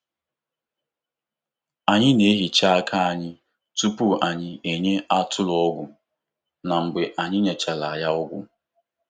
Anyị na-ehicha aka anyị tupu anyị enye atụrụ ọgwụ na mgbe anyị nyechara ya ọgwụ.